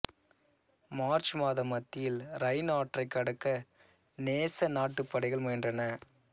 March மாத மத்தியில் Rhine ஆற்றைக் கடக்க நேச நாட்டுப் படைகள் முயன்றன